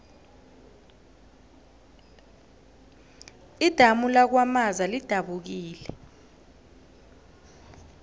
idamu lakwamaza lidabukile